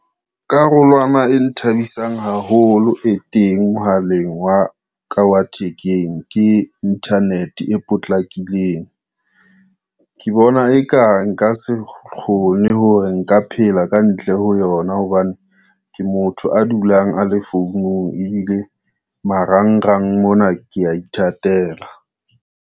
Karolwana e nthabisang haholo e teng mohaleng wa ka wa thekeng ke internet e potlakileng. Ke bona e kang nka se kgone hore nka phela kantle ho yona, hobane ke motho a dulang a le founung ebile marangrang mona, ke ya ithatela.